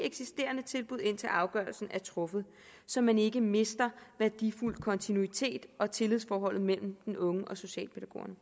i eksisterende tilbud indtil afgørelsen er truffet så man ikke mister værdifuld kontinuitet og så tillidsforholdet mellem den unge og socialpædagogerne